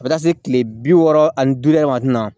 A bɛ taa se kile bi wɔɔrɔ ani duuru yɛrɛ ma kuma min na